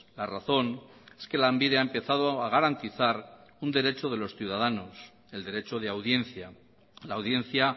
la razón es que lanbide ha empezado a garantizar un derecho de los ciudadanos el derecho de audiencia la audiencia